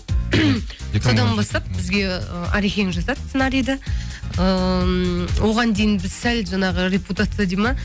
содан бастап бізге арекең жазады сценарийді ыыы оған дейін біз сәл жаңағы репутация дейді ма